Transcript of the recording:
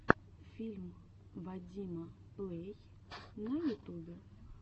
фильм вадима плэй на ютубе